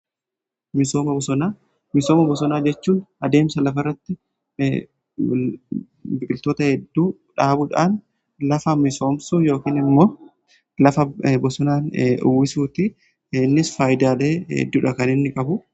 Misooma bosonaa jechuun adeemsa lafa irratti biqiltoota hedduu dhaabuudhaan lafa misoomsu yookiin immoo lafa bosonaan uwwisuuti. Innis faayidaalee hedduudha kan inni qabu.